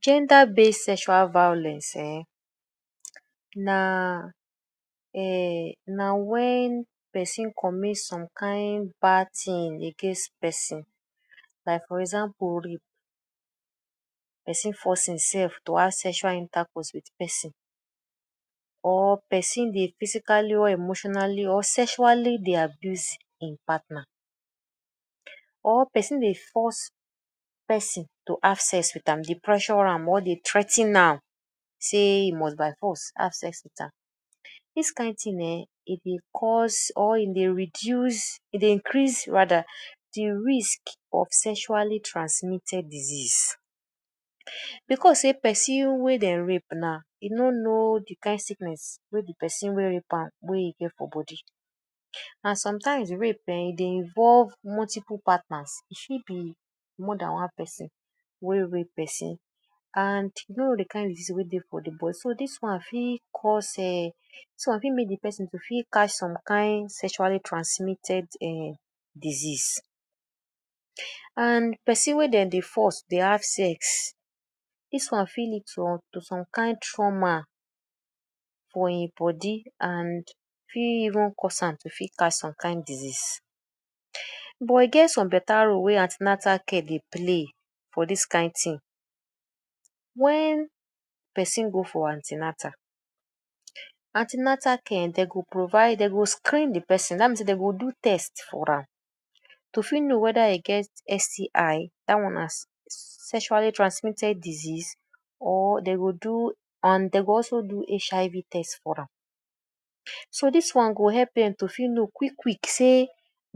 Gender base sexual violence um na um na wen person commit some kind bad thing against person, like for example person force im self to have sexual intercourse wit person or person dey physically or emotionally or sexually dey abuse im partner. Or person dey force person to have sex wit am, dey pressure am or dey threa ten am say e must by force have sex wit am. Dis kind thing um e dey cause or e dey reduce, e dey increase rather de risk of sexually transmitted disease because sey person wey dem rape now, e no know de kain sickness wey de person wey rape am wey e get for body. And sometimes rape um e dey involve multiple partners, e fit be more dan one person wey rape person and you no know de kain disease for de body. So dis one fit cause um, dis one fit make de person to fit catch some kain sexually transmitted um disease. And person wey dem dey force dey have sex, dis one fit lead to to some kind trauma for im body and fit even cause am to fit catch some kain disease. But e get some better role wey anti-natal care dey play for dis kain thing. Wen person go for anti-natal, anti-natal care um dey go provide dey go screen de person dat mean sey dey go do test for am, to fit know whether e get STI dat one na Sexually Transmitted Disease or um dey go do and dey go also do HIV test for am. So dis one go help dem to fit know quick quick sey “e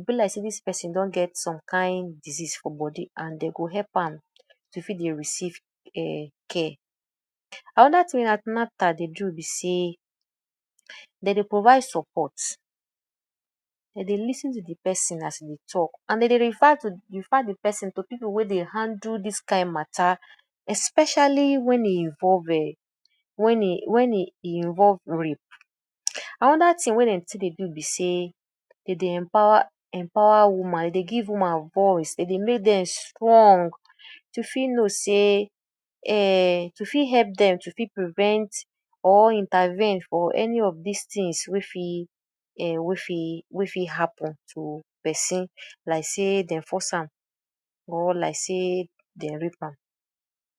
be like sey dis person don get some kain disease for body” and dey go help am to fit dey receive um care. Another thing wey anti-natal dey do be sey dey dey provide support, dey dey lis ten to de person as e dey talk and dey dey refer to refer de person to people wey dey handle dis kain matter especially wen e involve um wen e wen e involve rape. Another thing wey dem too dey do be sey dem dey empower empower woman, dem dey give woman voice, dem dey make dem strong to fit know sey um to fit help dem to fit prevent or intervene for any of dis things wey fit um wey fit wey fit happen to person like sey dey force am or like sey dem rape am.